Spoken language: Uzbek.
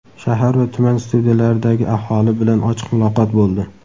Shahar va tuman studiyalaridagi aholi bilan ochiq muloqot bo‘ldi.